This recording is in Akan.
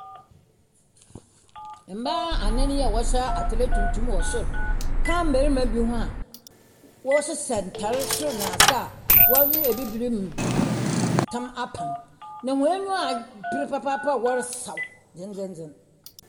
Mmaa anan yi a wɔsoa atere tuntum wɔ sor ka mmarima bi ho a wɔhyehyɛ ntaare sor na ase a ɔyɛ Abibirim tam apam. Na hɔn enyiwa abre papaapa a wɔresaw dzendzendzen.